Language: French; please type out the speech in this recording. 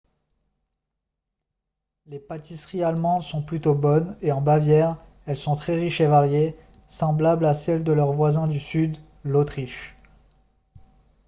les pâtisseries allemandes sont plutôt bonnes et en bavière elles sont très riches et variées semblables à celles de leur voisin du sud l'autriche